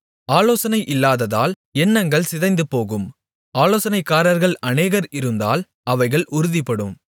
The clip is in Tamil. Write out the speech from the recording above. ஆலோசனை இல்லாததால் எண்ணங்கள் சிதைந்துபோகும் ஆலோசனைக்காரர்கள் அநேகர் இருந்தால் அவைகள் உறுதிப்படும்